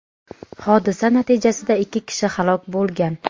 hodisa natijasida ikki kishi halok bo‘lgan.